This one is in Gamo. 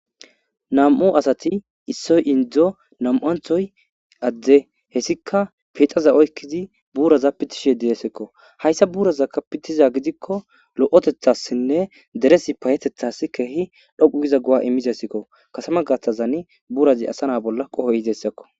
Nam'u asati issoy indzo namu'anthoy adde hessika pixaza oykkizi buuraza pitishe deesekko hayssa buurazakka pitiza gidikko lo'otethassinne deresi payetethas keehi dhoqu giza gu'a immizessekko kasama gastazani buurazi asa na bolla qohoy izeessekko.